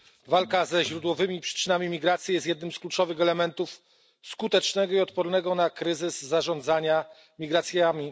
Walka ze źródłowymi przyczynami emigracji jest jednym z kluczowych elementów skutecznego i odpornego na kryzys zarządzania migracjami.